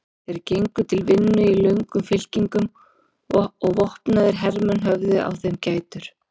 Þeir gengu til vinnu í löngum fylkingum og vopnaðir hermenn höfðu á þeim gætur.